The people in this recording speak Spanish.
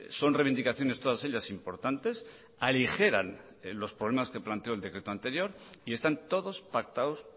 son reivindicaciones todas ellas importantes aligeran los problemas que planteó el decreto anterior y están todos pactados